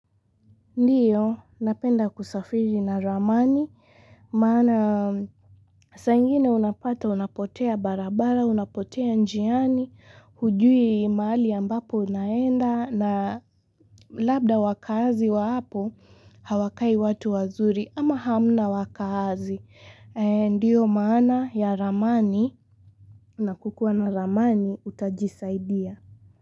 Ndiyo, napenda kusafiri na ramani maana saa ingine unapata unapotea barabara unapotea njiani hujui mahali ambapo unaenda na labda wakaazi wa hapo hawakai watu wazuri ama hamna wakaazi ndio maana ya ramani na kukua na ramani utajisaidia.